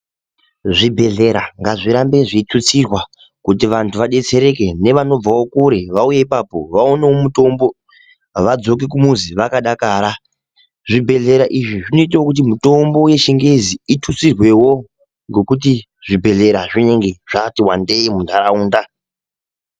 Zvibhedhlera ngazvirambe zveithutsirwa ,kuti vantu vadetsereke, nevanobvawo kure vauye ipapo ,vapuwe mitombo, vadzoke kumizi vakadakara. Zvibhedhlera izvi zvinoitawo kuti mitombo yechingezi ithutsirwewo, ngekuti zvibhedhlera zvinenge zvatiwandei muntaraunda.